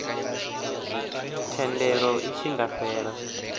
thendelo i tshi nga fhela